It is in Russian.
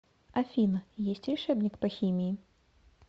афина есть решебник по химии